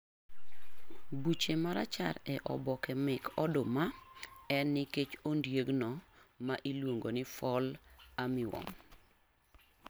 Buche ma rachar e oboke mek oduma en nikech ondiegno ma iluongo ni Fall armyworm.